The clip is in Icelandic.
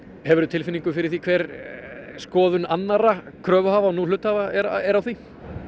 hefurðu tilfinningu fyrir því hver skoðun annarra kröfuhafa og nú hluthafa er á því